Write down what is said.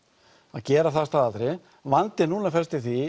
að gera það að staðaldri vandinn núna felst í því